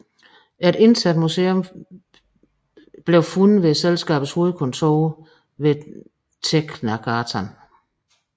Et internt museum fandtes ved selskabets hovedkontor ved Tegnérgatan